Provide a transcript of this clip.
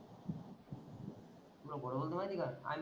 तुल बोलवलो होत माहित आहे का,